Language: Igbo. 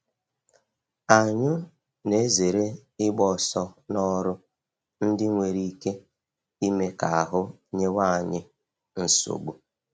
Anyụ na-ezere ịgba ọsọ n’ọrụ ndị nwere ike ime ka ahụ nyewe anyị nsogbu